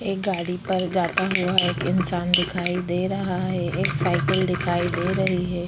एक गाड़ी पर एक जाता हुआ एक इन्सान दिखाई दे रहा है एक साइकिल दिखाई दे रही हैं ।